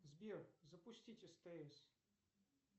сбер запустить стс